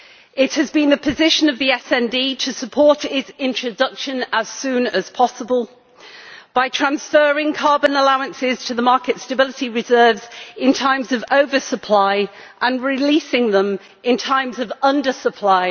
It has been the position of the SD to support its introduction as soon as possible by transferring carbon allowances to the market stability reserves in times of over supply and releasing them in times of under supply.